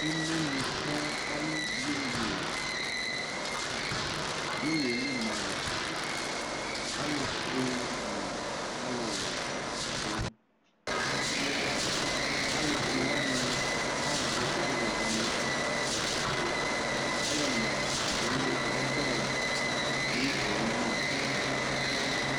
Imenu sɛ ayu iyeye inyeli mua alu fue nu aluwɛ du alufue wani akazɛ alu wɛ wani ikpa ayɔ ma kadu nu ɔbɛ ayu owue li